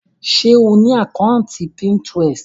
Ṣe o ni àkàntí Pinterest?